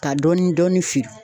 Ka dɔɔnin dɔɔnin feere.